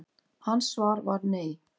Hans svar var nei.